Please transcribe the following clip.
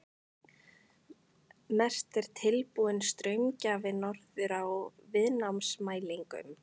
Mest er tilbúinn straumgjafi notaður í viðnámsmælingum.